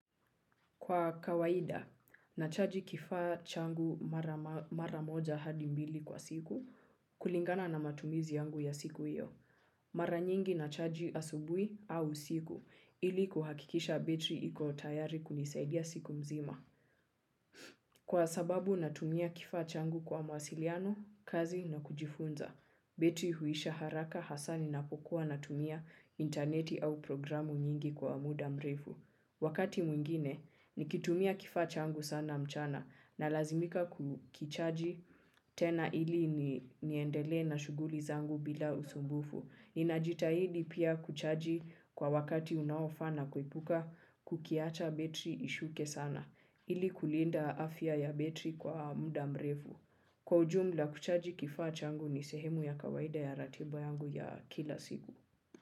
Kwa kawaida, nachaji kifaa changu mara moja hadi mbili kwa siku kulingana na matumizi yangu ya siku hiyo. Mara nyingi nachaji asubuhi au usiku ili kuhakikisha betri iko tayari kunisaidia siku mzima. Kwa sababu natumia kifaa changu kwa mawasiliano, kazi na kujifunza, betri huisha haraka hasa ninapokuwa natumia interneti au programu nyingi kwa muda mrefu. Wakati mwingine, nikitumia kifaa changu sana mchana nalazimika kukichaji tena ili niendelee na shughuli zangu bila usumbufu. Ninajitahidi pia kuchaji kwa wakati unaofaa na kuepuka kukiacha betri ishuke sana ili kulinda afya ya betri kwa mda mrefu. Kwa ujumla kuchaji kifaa changu ni sehemu ya kawaida ya ratiba yangu ya kila siku.